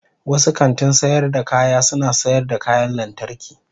wasu kantin sayar da kaya suna sayar da kayan lantarki.